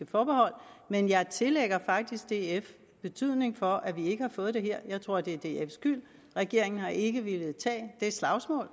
forbehold men jeg tillægger faktisk df betydning for at vi ikke har fået det her jeg tror det er dfs skyld regeringen har ikke villet tage det slagsmål